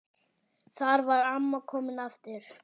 Þar var amma komin aftur.